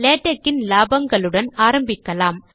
LaTeX இன் லாபங்களுடன் ஆரம்பிக்கலாம்